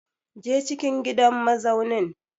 Je cikin gidan mazaunin!